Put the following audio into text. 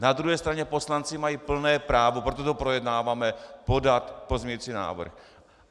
Na druhé straně poslanci mají plné právo, proto to projednáváme, podat pozměňovací návrh.